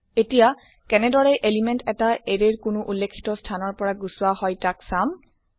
এতিয়া কেনেদৰে এলিমেন্ট এটা এৰে ৰ কোনো উল্লেখিত স্থানৰ পৰা গুচোৱা হয় তাক চাম